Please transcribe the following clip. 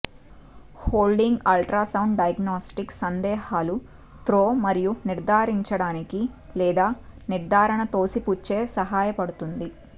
holding ultrasound diagnostics సందేహాలు throw మరియు నిర్ధారించడానికి లేదా నిర్ధారణ తోసిపుచ్చే సహాయపడుతుంది